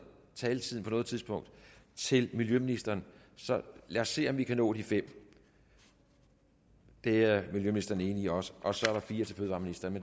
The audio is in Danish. taletiden på noget tidspunkt til miljøministeren så lad os se om ikke vi kan nå de fem det er miljøministeren enig i også og så er der fire til fødevareministeren